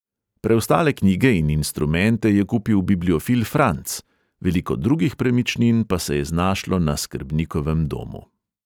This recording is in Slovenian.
Preostale knjige in instrumente je kupil bibliofil franc, veliko drugih premičnin pa se je znašlo na skrbnikovem domu.